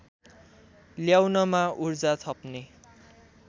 ल्याउनमा उर्जा थप्ने